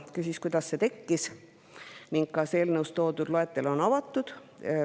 Ta küsis, kuidas see tekkis ning kas eelnõus toodud loetelu on avatud.